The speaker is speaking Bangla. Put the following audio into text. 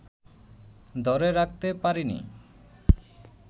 ধরে রাখতে পারিনি